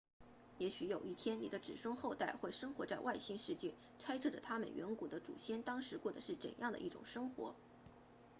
也许有一天你的子孙后代会生活在外星世界猜测着他们远古的祖先当时过得是怎样的一种生活